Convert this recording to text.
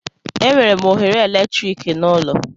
Enwere m oghere eletrik n'ụlọ.